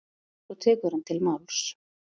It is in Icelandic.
Svo tekur hann til máls: